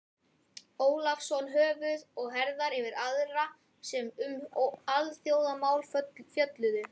Ólafsson höfuð og herðar yfir aðra sem um alþjóðamál fjölluðu.